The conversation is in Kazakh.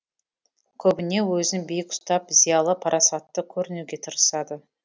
көбіне өзін биік ұстап зиялы парасатты көрінуге тырысады